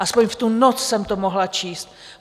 Alespoň v tu noc jsem to mohla číst.